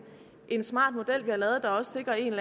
en smart model vi har lavet der også sikrer en